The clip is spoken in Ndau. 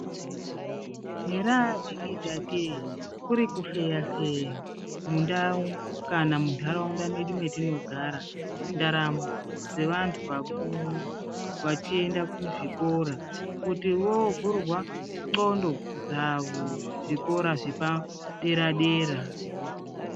Heraa dikita keee kuri kuhleya hleya mundau kana muntaraunda medu metinogara ndaramo yevantu vakuru vachienda kuzvikora kuti vovhurwa ndxondo dzawo zvikora zvepadera dera.